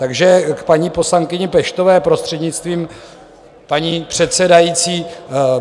Takže k paní poslankyni Peštové, prostřednictvím paní předsedající.